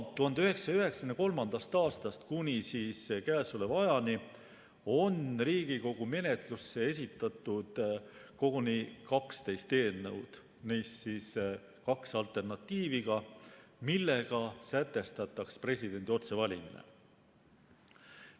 1993. aastast kuni käesoleva ajani on Riigikogu menetlusse esitatud koguni 12 eelnõu, neist kaks alternatiiviga, millega sätestataks presidendi otsevalimine.